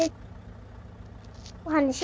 Og hann í sjóinn.